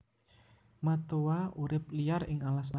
Matoa urip liar ing alas alas